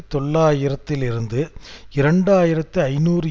தொள்ளாயிரத்திலிருந்து இரண்டு ஆயிரத்தி ஐநூறு